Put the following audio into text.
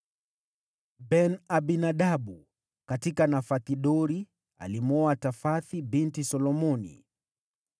Ben-Abinadabu: katika Nafoth-Dori (alimwoa Tafathi binti Solomoni);